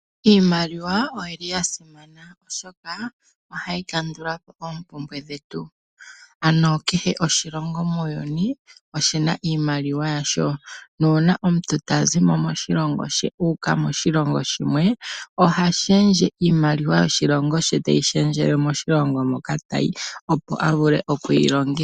Iimaliwa oyili yasimana oshoka ohayi kandulapo oompumbwe dhetu, ano kehe oshilongo muuyuni oshina iimaliwa yasho. Nuuna omuntu tazimo moshilongo she uuka moshilongo shimwe ohashendje iimaliwa yoshilongo she teyi shendjele moshilongo moka tayi opo avule okuyilongitha.